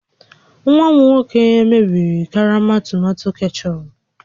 Nwa m nwoke mebiri karama tomato kechọp